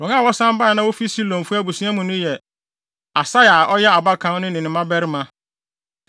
Wɔn a wɔsan bae a na wofi Silonfo abusua mu no yɛ: Asaia a ɔyɛ abakan no ne ne mmabarima.